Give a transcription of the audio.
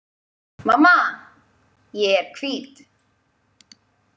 Mamma,- ég er hvít